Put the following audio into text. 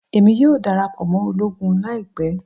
Emi yoo darapọ mọ ologun laipẹ